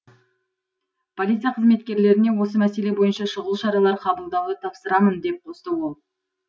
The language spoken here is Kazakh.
полиция қызметкерлеріне осы мәселе бойынша шұғыл шаралар қабылдауды тапсырамын деп қосты ол